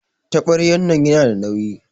Tabaryan nan yana da nauyi.